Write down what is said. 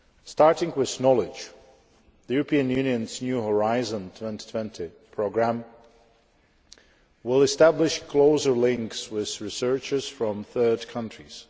Starting with knowledge the European Union's new Horizon 2020 programme will establish closer links with researchers from third countries.